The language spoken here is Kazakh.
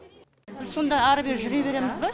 біз сонда ары бері жүре береміз ба